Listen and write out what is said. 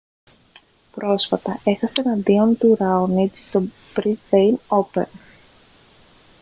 πρόσφατα έχασε εναντίον του ραόνιτς στο μπρίσμπεϊν όπεν